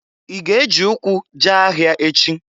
I ga-ejị ụkwụ jee ahịa echi?